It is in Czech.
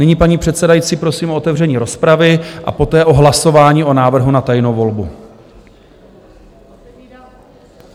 Nyní, paní předsedající, prosím o otevření rozpravy a poté o hlasování o návrhu na tajnou volbu.